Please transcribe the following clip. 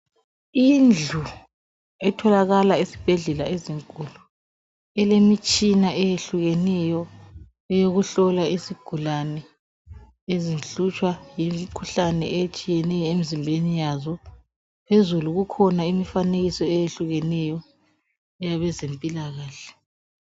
Indlu etholaka esibhedlela ezinkulu ilemitshina eyehlukeneyo eyokuhlola isigulane ezihlutshwa yimkhuhlane eyetshiyeneyo emzimbeni yazo. Phezulu kukhona imifanekiso eyehlukeneyo eyabezempilakahle.